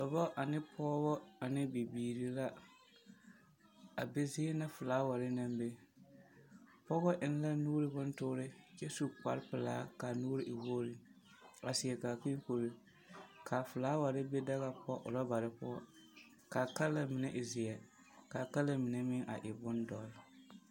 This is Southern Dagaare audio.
Dɔbɔ ane pɔɔbɔ ane bibiiri la, a be zie na felaaware naŋ be. Pɔgɔ eŋ la nu bontoore kyɛ su kparepelaa kaa nuuri e wogri, a seɛ kaakee kuree, kaa felaaware be daga poɔ orɔbare poɔ, kaa kala mine e zeɛ, kaa kala mine meŋ a e bondɔr.